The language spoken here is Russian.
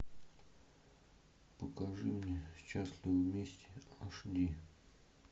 покажи мне счастливы вместе аш ди